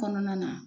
Kɔnɔna na